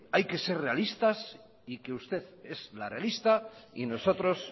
hay que ser realistas y que usted es la realista y nosotros